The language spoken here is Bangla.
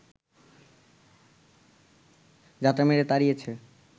ঝাঁটা মেরে তাড়িয়েছে